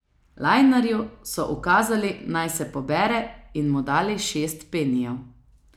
Lajnarju so ukazali, naj se pobere in mu dali šest penijev.